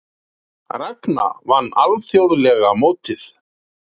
Ragna vann alþjóðlega mótið